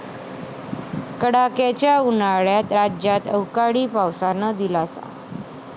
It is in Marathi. कडाक्याच्या उन्हाळ्यात राज्यात अवकाळी पावसानं दिलासा